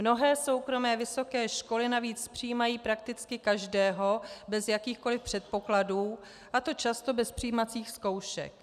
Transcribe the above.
Mnohé soukromé vysoké školy navíc přijímají prakticky každého bez jakýchkoliv předpokladů, a to často bez přijímacích zkoušek.